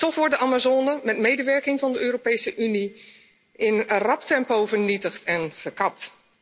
Toch wordt de Amazone met medewerking van de Europese Unie in een rap tempo vernietigd en gekapt.